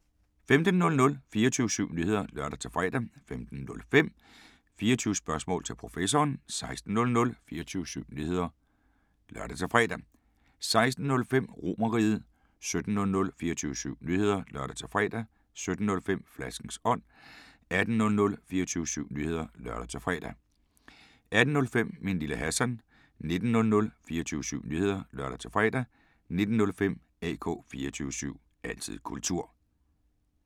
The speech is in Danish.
15:00: 24syv Nyheder (lør-fre) 15:05: 24 Spørgsmål til Professoren 16:00: 24syv Nyheder (lør-fre) 16:05: RomerRiget 17:00: 24syv Nyheder (lør-fre) 17:05: Flaskens ånd 18:00: 24syv Nyheder (lør-fre) 18:05: Min Lille Hassan 19:00: 24syv Nyheder (lør-fre) 19:05: AK 24syv – altid kultur